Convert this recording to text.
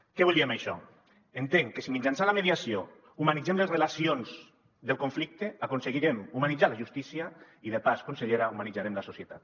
què vull dir amb això entenc que si mitjançant la mediació humanitzem les relacions del conflicte aconseguirem humanitzar la justícia i de pas consellera humanitzarem la societat